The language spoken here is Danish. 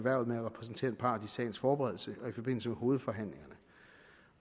at repræsentere en part i sagens forberedelse og i forbindelse med hovedforhandlingerne